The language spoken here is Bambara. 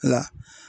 Nka